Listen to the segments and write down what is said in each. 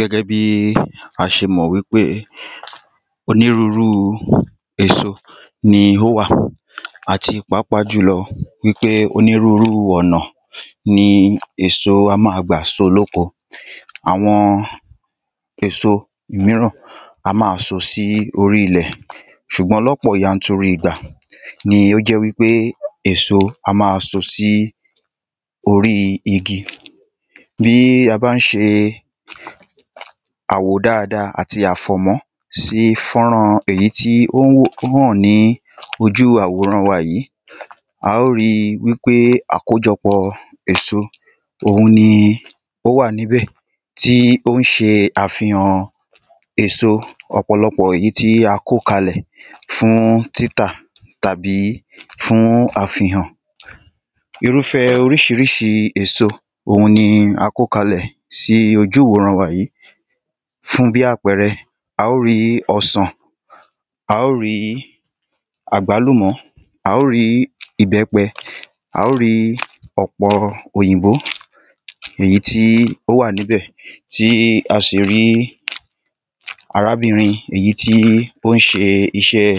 Gẹ́gẹ́ bí a ṣe mọ̀ wípé onírúrúu èso ni ó wà Àti pàápàá jùlọ wípé onírúrú ọ̀nà ni èso á ma gbà so ní oko Àwọn èso míràn á ma so sí orí ilẹ̀ S̼ùgbọ́n ní ọ̀pọ̀ yanturu ìgbà ni ó jẹ́ wípé èso á máa so sí orí igi Bí a bá ń ṣe àwó dáadáa àti sí fọ́nrán èyí tí ó hàn ní ojú àwòrán wa yìí A óò ri wípé àkójọpọ̀ èso òun ni ó wà ní ibẹ̀ Tí ó ń ṣe àfihàn èso ọ̀pọ̀lọpọ̀ èyí tí a kó kalẹ̀ fún títà tàbí fún àfihàn Irúfe oríṣiríṣi èso òun ni a kó kalẹ sí ojú ìworán wa yìí Fún bíi apẹẹrẹ A óò rí ọsàn A óò rí àgbálùmọ́ A óò rí ìbẹ́pẹ A óò rí ọpọ̀ọ òyìnbó èyí tí ó wà ní ibẹ̀ Tí a sì rí arábìnrin èyí tí ó ń ṣe iṣẹ́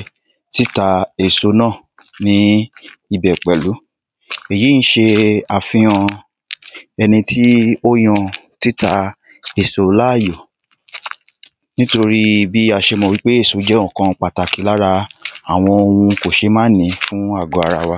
títa èso náà ní ibẹ̀ pẹ̀lú Èyí ń ṣe àfihàn ẹni tí ó yan títa èso láàyò